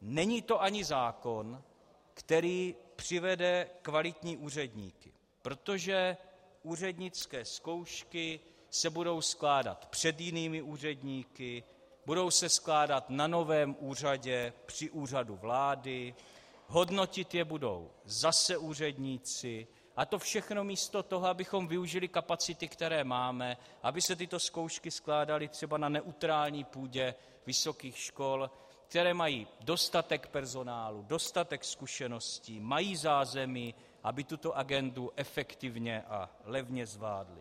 Není to ani zákon, který přivede kvalitní úředníky, protože úřednické zkoušky se budou skládat před jinými úředníky, budou se skládat na novém úřadě při Úřadu vlády, hodnotit je budou zase úředníci, a to všechno místo toho, abychom využili kapacity, které máme, aby se tyto zkoušky skládaly třeba na neutrální půdě vysokých škol, které mají dostatek personálu, dostatek zkušeností, mají zázemí, aby tuto agendu efektivně a levně zvládly.